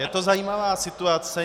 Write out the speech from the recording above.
Je to zajímavá situace.